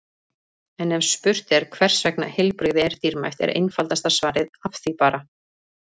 En ef spurt er hvers vegna heilbrigði er dýrmætt er einfaldasta svarið Af því bara!